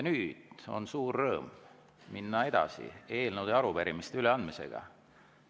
Nüüd on suur rõõm minna edasi eelnõude ja arupärimiste üleandmisega.